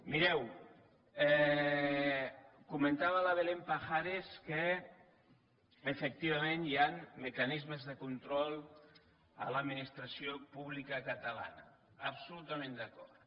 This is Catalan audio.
mireu comentava la belén pajares que efectivament hi ha mecanismes de control a l’administració pública catalana absolutament d’acord